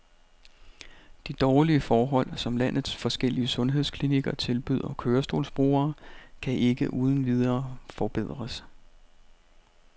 De dårlige forhold, som landets forskellige sundhedsklinikker tilbyder kørestolsbrugere, kan ikke uden videre forbedres.